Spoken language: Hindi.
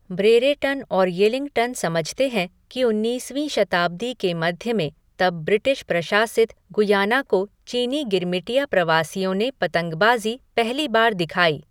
ब्रेरेटन और येलिंगटन समझते हैं कि उन्नीसवीं शताब्दी के मध्य में तब ब्रिटिश प्रशासित गुयाना को चीनी गिरमिटिया प्रवासियों ने पतंगबाजी पहली बार दिखाई।